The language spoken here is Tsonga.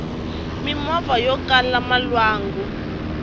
mimovha yokala malwanku